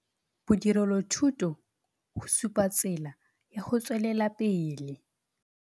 BODIRELOTHUTO GO SUPA TSELA YA GO TSWELELA PELE